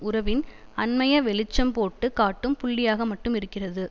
உறவின் அண்மைய வெளிச்சம் போட்டு காட்டும் புள்ளியாக மட்டும் இருக்கிறது